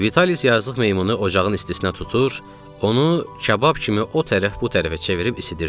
Vitalis yazıq meymunu ocağın istisinə tutur, onu kabab kimi o tərəf-bu tərəfə çevirib isidirdi.